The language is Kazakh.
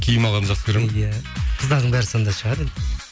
киім алғанды жақсы көреді ма иә қыздардың бәрі сондай шығар енді